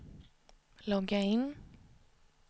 logga in